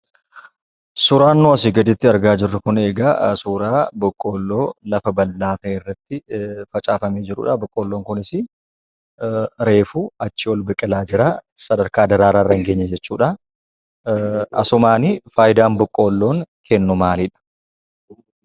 Suuraan nuyi asii gaditti argaa jirru jun egaa suuraa Boqqolloo lafa bal'aa ta'e irratti facaafamee jirudha. Boqqolloon kunisii Reefuu achii ol biqilaa jira. sadarkaa daraaraa irra hin geenye jechuudha. asumaan faayidaan Boqolloon kennu maalidha?